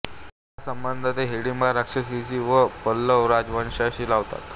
आपला संबंध ते हिडिंबा राक्षसीशी व पल्लव राजवंशाशी लावतात